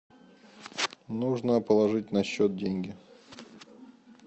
нужно положить на счет деньги